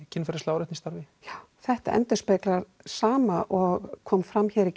kynferðislega áreitni í starfi já þetta endurspeglar það sama og kom fram í